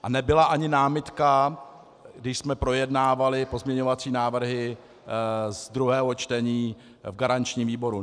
A nebyla ani námitka, když jsme projednávali pozměňovací návrhy z druhého čtení v garančním výboru.